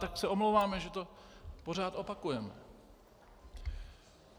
Tak se omlouváme, že to pořád opakujeme.